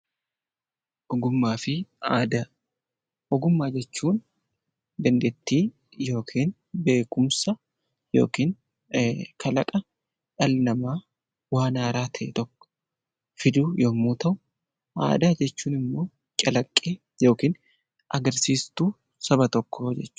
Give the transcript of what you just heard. Ogummaa jechuun dandeettii yookiin beekumsa yookiin kalaqa dhalli namaa waan haaraa ta'e tokko fiduuf yommuu ta'u, aadaa jechuun immoo agarsiiftuu Saba tokkoo jechuudha